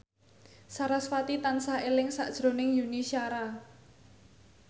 sarasvati tansah eling sakjroning Yuni Shara